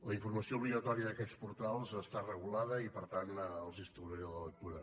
la informació obligatòria d’aquests portals està regulada i per tant els n’estalviaré la lectura